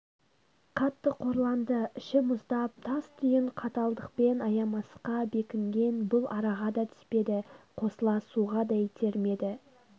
қатты қорланды іші мұздап тас-түйін қаталдықпен аямасқа бекінген бұл араға да түспеді қосыла суға да итермеді